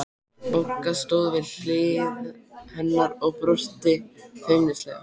Bogga stóð við hlið hennar og brosti feimnislega.